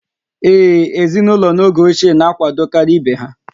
Ee, ezinụlọ n'oge ochie na-akwadokarị ibe ha